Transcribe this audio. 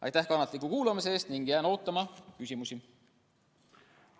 Aitäh kannatliku kuulamise eest ning jään ootama küsimusi!